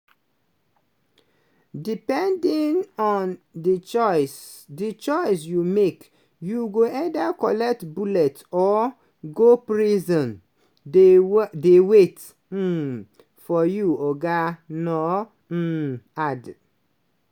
depending on di choice di choice you make you go either collect bullet or go prison dey wai dey wait um for you" oga nuur um add.